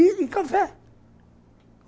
E café.